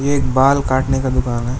एक बाल काटने का दुकान है।